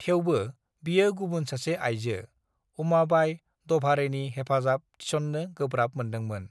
"थेवबो, बियो गुबुन सासे आइजो, उमाबाइ द'भाड़ेनि हेफाजाब थिसन्नो गोब्राब मोन्दोंमोन।"